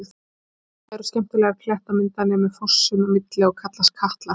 Í ánni eru skemmtilegar klettamyndanir með fossum á milli og kallast Katlar.